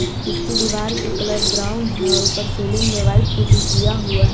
इसकी दीवार की कलर ब्राउन है और ऊपर सीलिंग में व्हाइट पुट्टी किया हुआ है।